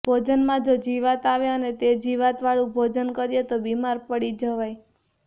ભોજનમાં જો જીવાત આવે અને તે જીવાતવાળું ભોજન કરીએ તો બીમાર પડી જવાય